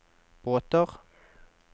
båter